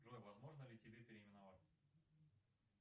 джой возможно ли тебя переименовать